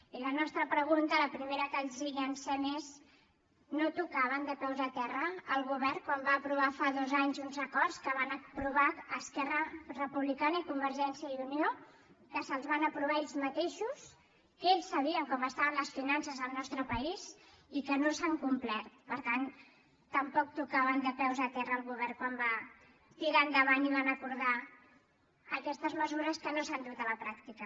i la nostra pregunta la primera que els llancem és no tocava de peus a terra el govern quan va aprovar fa dos anys uns acords que van aprovar esquerra republicana i convergència i unió que se’ls van aprovar ells mateixos que ells sabien com estaven les finances al nostre país i que no s’han complert per tant tampoc tocava de peus a terra el govern quan va tirar endavant i va acordar aquestes mesures que no s’han dut a la pràctica